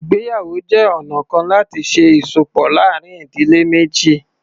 Ìgbéyàwó jẹ́ ọ̀na kan láti ṣe ìsopọ̀ láàárín ìdílé méjì.